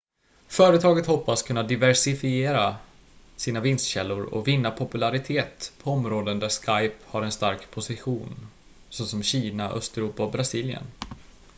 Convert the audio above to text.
företaget hoppas kunna diversifiera sina vinstkällor och vinna popularitet på områden där skype har en stark position såsom kina östeuropa och brasilien